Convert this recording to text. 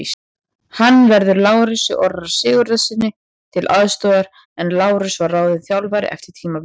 Hann verður Lárusi Orra Sigurðssyni til aðstoðar en Lárus var ráðinn þjálfari eftir tímabilið.